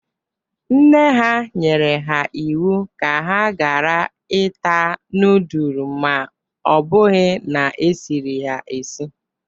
Nne ha nyere ha iwu ka ha gara ita nudul ma o bụghi na esiri ya esi.